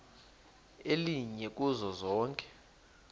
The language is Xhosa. elinye kuzo zonke